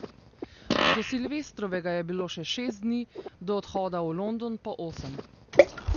Do silvestrovega je bilo še šest dni, do odhoda v London pa osem.